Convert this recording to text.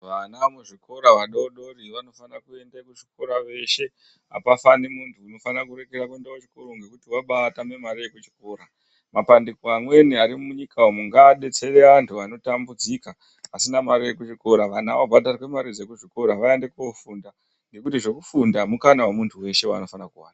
Vana muzvikora vadodori vanofanire kuende kuzvikora veshe apa fani muntu unokorere kuende kuchikoro kokuti vabatame mare ye kuchikora mapandiko amweni ari munyika umu ngaadetsere antu anotambudzika asina mari yekuchikora vana vabhadharirwe mare dzekuzvikora vaende kofunda ngekuti zvekufunda mukana wemuntu weshe waanofana kuwana.